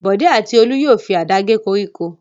Bọ̀dé àti Olú yóò fi àdá gé koríko.